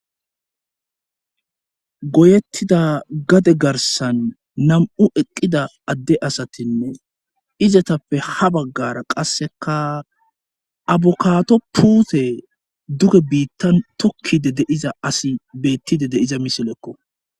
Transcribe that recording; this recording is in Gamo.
Goyettida gade garsan nam'u eqqida adde asatinne izatappe ha baggara qasseka abukaato puute duge biittan tokkide deiza asi bettide deiza misilekko.